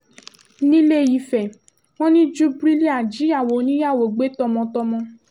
nílé-ìfẹ́ wọn ní júbírìlà jíyàwó oníyàwó gbé tọmọtọmọ